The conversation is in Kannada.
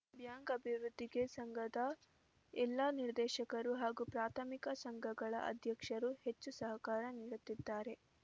ಬ್ಯಾಂಕ್‌ ಅಭಿವೃದ್ಧಿಗೆ ಸಂಘದ ಎಲ್ಲ ನಿರ್ದೇಶಕರು ಹಾಗೂ ಪ್ರಾಥಮಿಕ ಸಂಘಗಳ ಅಧ್ಯಕ್ಷರು ಹೆಚ್ಚು ಸಹಕಾರ ನೀಡುತ್ತಿದ್ದಾರೆ